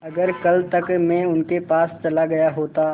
अगर कल तक में उनके पास चला गया होता